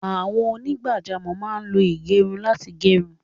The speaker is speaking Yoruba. Àwọn onígbàjámọ̀ máá lo ìgẹrun láti gẹrun